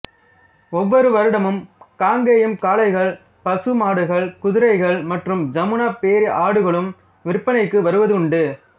ஒவ்வொரு வருடமும் காங்கயம் காளைகள் பசு மாடுகள் குதிரைகள் மற்றும் ஜமுனா பேரி ஆடுகளும் விற்பனைக்கு வருவதுண்டு